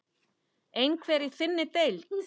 Einhver í þinni deild?